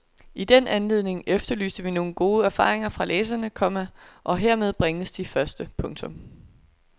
I den anledning efterlyste vi gode erfaringer fra læserne, komma og hermed bringes de første. punktum